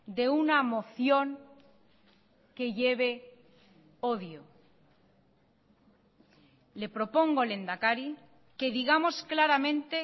de una moción que lleve odio le propongo lehendakari que digamos claramente